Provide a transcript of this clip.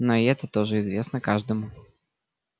но и это тоже известно каждому